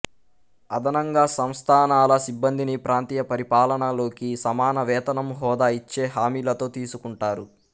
అదనంగా సంస్థానాల సిబ్బందిని ప్రాంతీయ పరిపాలన లోకి సమాన వేతనం హోదా ఇచ్చే హామీలతో తీసుకుంటారు